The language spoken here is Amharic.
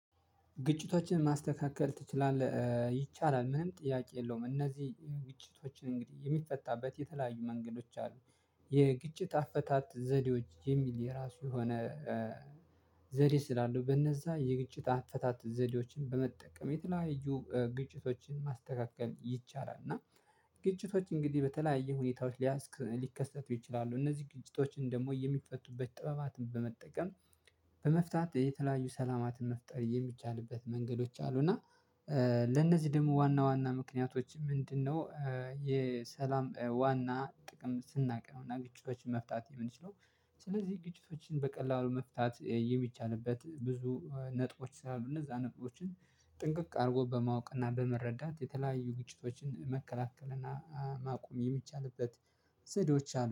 ግጭቶችን ማስተካከል ትችላለህ? ይቻላል ምንም ጥያቄ የለውም እነዚህ ግጭቶችን እንግዲህ የሚፈታበት የተለያዩ መንገዶች አሉ። የግጭት አፈታት ዘዴዎች የሚል የራሱ የሆነ ዘዴ ስላለው በእነዛ የግጭት አፈታት ዘዴዎችን በመጠቀም የተለያዩ ግጭቶችን ማስተካከል ይቻላል እና ግጭቶች እንግዲህ በተለያየ ሁኔታዎች ሊከሰቱ ይችላሉ እነዚህ ግጭቶችን ደግሞ የሚፈቱበት ጥበባትን በመጠቀም በመፍታት የተለያዩ ሰላማትን መፍጠር የሚቻልበት መንገዶች አሉ እና ለእነዚህ ደግሞ ዋና ዋና ምክንያቶች ምንድነው የሰላም ዋና ጥቅም ስናውቅ ነው እና ግጭቶችን መፍታት የምንችለው ስለዚህ ግጭቶችን በቀላሉ መፍታት የሚቻልበት ብዙ ነጥቦች ስላሉ እነዛ ነጥቦችን ጥንቅቅ አድርጎ በማወቅና በመረዳት የተለያዩ ግጭቶችን መከላከልና ማቆም የሚቻልበት ዘዴዎች አሉ።